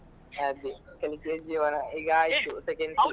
ಅದೇ ಕಲಿಕೆಯೇ ಜೀವನ ಈಗ